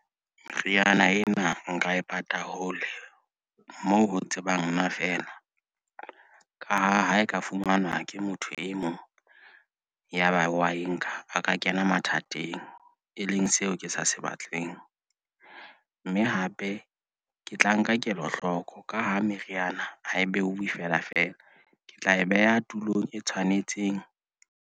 Re yana empa nka e pata hole moo ho tsebang nna feela ka ha e ka fumanwa ke motho e mong ya ba wa e nka a ka kena mathateng eng. E leng seo ke sa se batleng, mme hape ke tla nka kelohloko. Ka ha meriana ha e behuwe felafela. Ke tla e beha tulong e tshwanetseng.